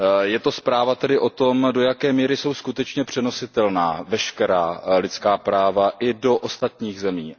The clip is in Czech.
Je to zpráva tedy o tom, do jaké míry jsou skutečně přenositelná veškerá lidská práva i do ostatních zemí.